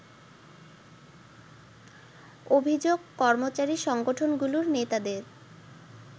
অভিযোগ কর্মচারী সংগঠনগুলোর নেতাদের